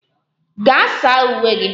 Gaa saa uwe gị!